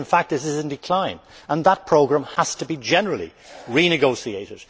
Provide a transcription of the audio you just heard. In fact, it is in decline, and that programme has to be generally renegotiated.